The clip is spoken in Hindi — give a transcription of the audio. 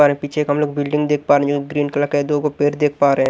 और एक पीछे एक हम लोग बिल्डिंग देख पा रहे हैं ग्रीन कलर के दो गो पेड़ देख पा रहे हैं।